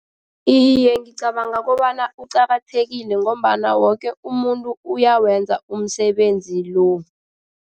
Iye, ngicabanga kobana uqakathekile ngombana woke umuntu uyawenza umsebenzi lo.